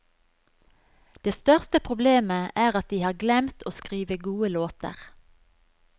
Det største problemet er at de har glemt å skrive gode låter.